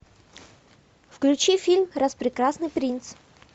включи фильм распрекрасный принц